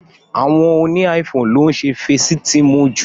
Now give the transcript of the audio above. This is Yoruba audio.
Àwọn óni iPhone lo ǹ ṣe Fésitiimu ju.